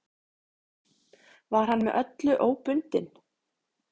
Var hann með öllu óbundinn.